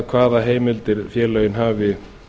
hvaða heimildir félögin hafi